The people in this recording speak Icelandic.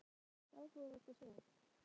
Ásgeir, er margt áhugavert að sjá?